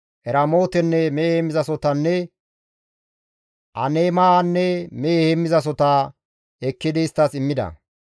Eramootenne mehe heemmizasohotanne Aneemanne mehe heemmizasohota ekkidi isttas immida.